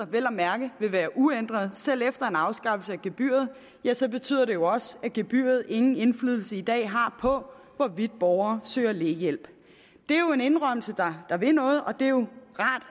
vel at mærke vil være uændret selv efter en afskaffelse af gebyret så betyder det jo også at gebyret ingen indflydelse i dag har på hvorvidt borgere søger lægehjælp det er jo en indrømmelse der vil noget og det er jo